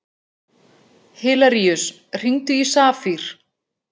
Hilaríus, hringdu í Safír.